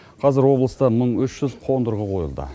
қазір облыста мың үш жүз қондырғы қойылды